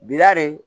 Bila de